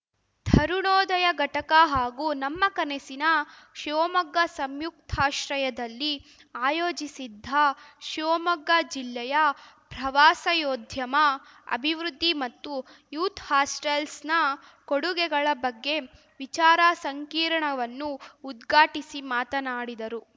ತರುಣೋದಯ ಘಟಕ ಹಾಗೂ ನಮ್ಮ ಕನಸಿನ ಶಿವಮೊಗ್ಗ ಸಂಯುಕ್ತಾಶ್ರಯದಲ್ಲಿ ಆಯೋಜಿಸಿದ್ದ ಶಿವಮೊಗ್ಗ ಜಿಲ್ಲೆಯ ಪ್ರವಾಸಯೋದ್ಯಮ ಅಭಿವೃದ್ಧಿ ಮತ್ತು ಯೂಥ್‌ ಹಾಸ್ಟೆಲ್ಸ್‌ನ ಕೊಡುಗೆಗಳ ಬಗ್ಗೆ ವಿಚಾರ ಸಂಕಿರ್ಣವನ್ನು ಉದ್ಘಾಟಿಸಿ ಮಾತನಾಡಿದರು